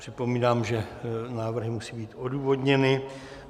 Připomínám, že návrhy musí být odůvodněny.